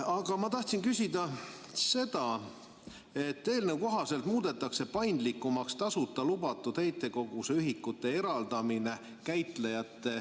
Aga ma tahtsin küsida seda, et eelnõu kohaselt muudetakse käitajate jaoks paindlikumaks tasuta lubatud heitkoguse ühikute eraldamine.